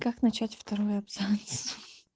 как начать второй абзац